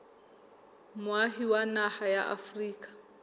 moahi wa naha ya afrika